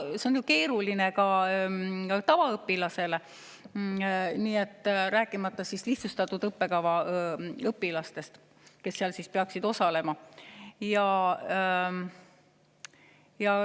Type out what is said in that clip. See on keeruline ka tavaõpilasele, rääkimata lihtsustatud õppekava õpilastest, kes seal peaksid osalema.